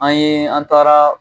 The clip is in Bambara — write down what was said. An yee an taara